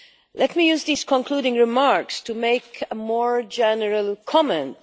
Let me use these concluding remarks to make a more general comment.